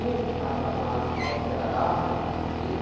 O cabra macho lá, o, meu, ele...